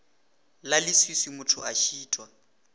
la leswiswi motho a šitwa